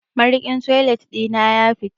Mariƙin toilet ɗi na ya fita.